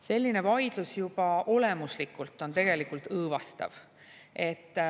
Selline vaidlus juba olemuslikult on õõvastav.